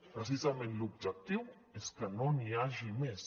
precisament l’objectiu és que no n’hi hagi més